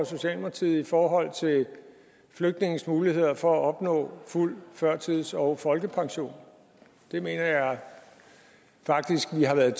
socialdemokratiet i forhold til flygtninges muligheder for at opnå fuld førtids og folkepension det mener jeg faktisk vi har været